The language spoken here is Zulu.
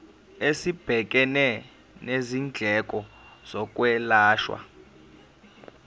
esibhekene nezindleko zokwelashwa